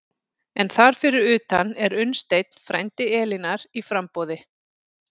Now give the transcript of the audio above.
En þar fyrir utan er Unnsteinn, frændi Elínar, í framboði.